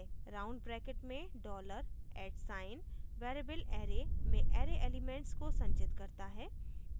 round brackets में dollar @at sign variable array में array elements को संचित करता है